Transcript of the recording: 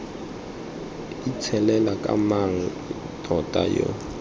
itshelela ke mang tota yo